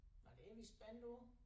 Nej det er vi spændte på